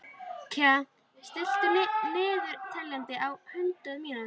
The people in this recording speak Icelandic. Kaj, stilltu niðurteljara á hundrað mínútur.